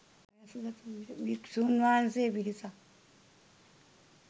භික්‍ෂූන් වහන්සේ පිරිසක්